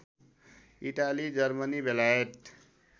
Italy Germany बेलायत